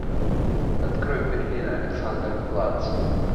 открой берлин александерплац